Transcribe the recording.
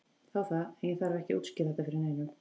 Þá það, en ég þarf ekki að útskýra þetta fyrir neinum.